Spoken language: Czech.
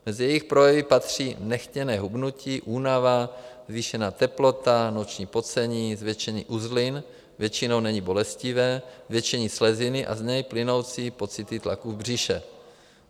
Mezi jejich projevy patří nechtěné hubnutí, únava, zvýšená teplota, noční pocení, zvětšení uzlin - většinou není bolestivé - zvětšení sleziny a z něj plynoucí pocity tlaku v břiše.